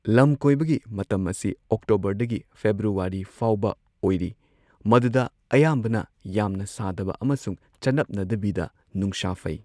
ꯂꯝꯀꯣꯏꯕꯒꯤ ꯃꯇꯝ ꯑꯁꯤ ꯑꯣꯛꯇꯣꯕꯔꯗꯒꯤ ꯐꯦꯕ꯭ꯔꯨꯋꯥꯔꯤ ꯐꯥꯎꯕ ꯑꯣꯏꯔꯤ ꯃꯗꯨꯗ ꯑꯌꯥꯝꯕꯅ ꯌꯥꯝꯅ ꯁꯥꯗꯕ ꯑꯃꯁꯨꯡ ꯆꯅꯞꯅꯗꯕꯤꯗ ꯅꯨꯡꯁꯥ ꯐꯩ꯫